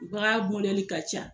ka ca.